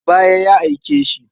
Daga baya ya aike shi.